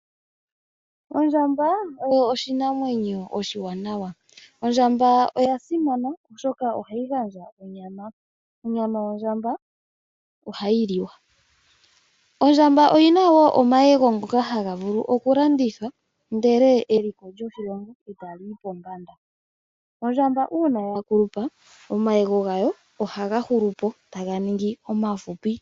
Ondjamba oyo oshinamwenyo oshiwanawa. Ondjamba oya simana oshoka ohayi gandja onyama. Onyama yondjamba ohayi liwa. Ondjamba oyi na wo omayego ngoka haga vulu oku landithwa ndele eliko lyoshilongo etali yi pombanda. Ondjamba uuna ya kulupa, omayego gayo ohaga hulupo, taga ningi omafupi.